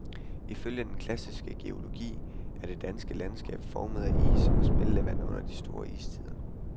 Ifølge den klassiske geologi er det danske landskab formet af isen og smeltevandet under de store istider.